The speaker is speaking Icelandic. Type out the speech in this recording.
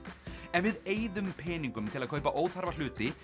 ef við eyðum peningum til að kaupa óþarfa hluti